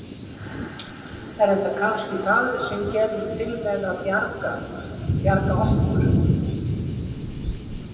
Er þetta kannski það sem að kemur til með að bjarga, bjarga okkur?